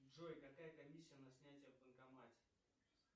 джой какая комиссия на снятие в банкомате